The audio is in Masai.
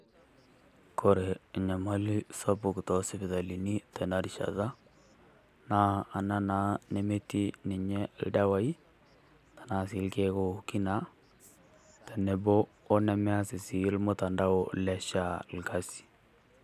Kore nyamali sapuk too sipitalini tena rishata naa ana naa nimeeti ninye ildawai tana sii ilkeek ooki naa . Teneboo ono mees sii mutandao le SHA lkasi.